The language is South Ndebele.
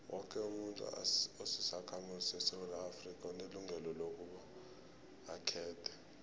woke umuntu osisakhamuzi sesewula afrika unelungelo lokobaba akhethe